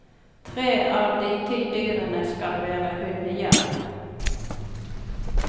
Tre av de ti dyrene skal være hunnjerv.